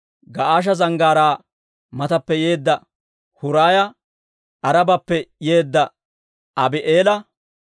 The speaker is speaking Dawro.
Ga'aasha Zanggaaraa matappe yeedda Huraaya, Aarabappe yeedda Abii'eela,